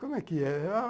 Como é que é?